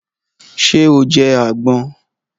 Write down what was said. Ṣé o jẹ àgbon?